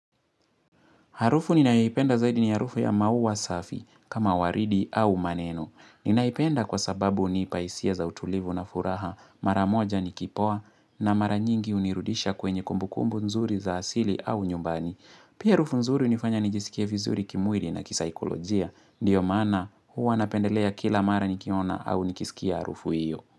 Harufu ninayoipenda zaidi ni harufu ya maua safi kama waridi au maneno. Ninaipenda kwa sababu unipa hisia za utulivu na furaha maramoja nikipoa na maranyingi unirudisha kwenye kumbukumbu nzuri za asili au nyumbani. Pia harufu nzuri unifanya nijisikie vizuri kimwili na kisaikolojia. Ndio maana huwa napendelea kila mara nikiona au nikiskia harufu hio.